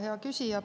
Hea küsija!